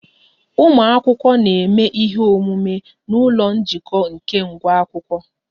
Ụmụ akwụkwọ na-eme ihe omume n'ụlọ njikọ nke nwa akwụkwọ